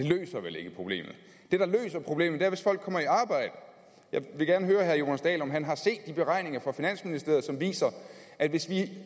det løser vel ikke problemet det der løser problemet er at folk kommer i arbejde jeg vil gerne høre herre jonas dahl om han har set de beregninger fra finansministeriet som viser at hvis vi